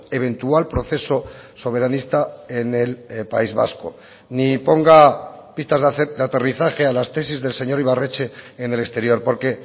eventual proceso soberanista en el país vasco ni ponga pistas de aterrizaje a las tesis del señor ibarretxe en el exterior porque